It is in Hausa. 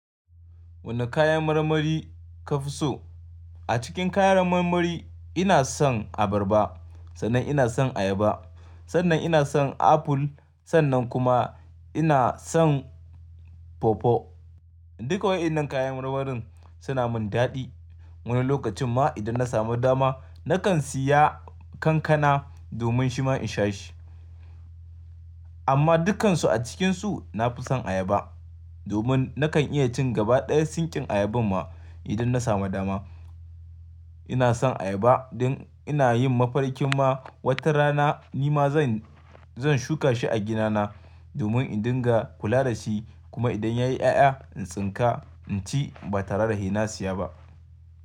Wane kayan marmari ka fi so? A cikin kayan marmari ina son abarba, sannan ina son ayaba, sannan ina son aful, sannan kuma ina son pawpaw. Duka waɗannan kayan marmarin suna min daɗi. Wani lokacin ma idan na samu dama nakan siya kankana domin shima in sha shi. Amma dukkansu a cikinsu na fi son ayaba domin nakan iya cin gaba ɗaya sinkin ayaban ma idan na samu dama. Ina son ayaba don ina yin mafarkin ma wata rana nima zan, zan shuka shi a ginana domin in dinga kula da shi kuma idan yayi ƴaƴa in tsinka, inci ba tare da haina siya ba.